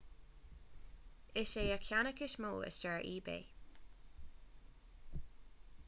is é an ceannach is mó i stair ebay